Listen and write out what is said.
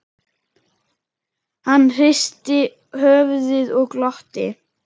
Hann hristi höfuðið og glotti.